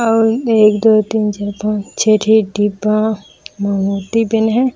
आऊ एक दो तीन चार पांच छः ठी डिब्बा म मूर्ति बने हे।